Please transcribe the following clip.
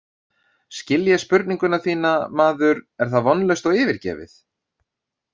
Skil ég spurningu þína, maður, er það vonlaust og yfirgefið?